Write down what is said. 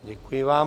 Děkuji vám.